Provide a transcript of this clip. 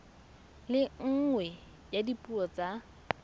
le nngwe ya dipuo tsa